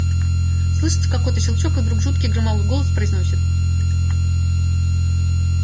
слышится какой-то щелчок и вдруг жуткий громовой голос произносит